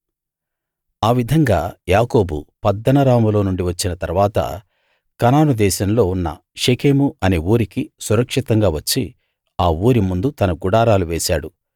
ఆ విధంగా యాకోబు పద్దనరాములో నుండి వచ్చిన తరువాత కనాను దేశంలో ఉన్న షెకెము అనే ఊరికి సురక్షితంగా వచ్చి ఆ ఊరి ముందు తన గుడారాలు వేశాడు